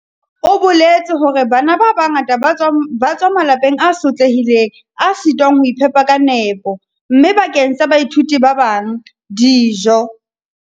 O boletse hore "Bana ba bangata ba tswa malapeng a sotlehileng a sitwang ho iphepa ka nepo, mme bakeng sa baithuti ba bang, dijo"